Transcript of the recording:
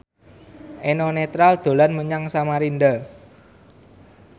Eno Netral dolan menyang Samarinda